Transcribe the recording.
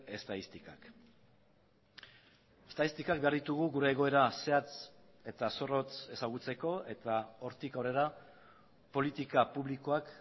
estatistikak estatistikak behar ditugu gure egoera zehatz eta zorrotz ezagutzeko eta hortik aurrera politika publikoak